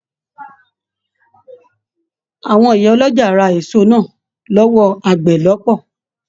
Àwọn ìyá ọlọ́jà ra èso náà l'ọwọ àgbẹ̀ lọpọ.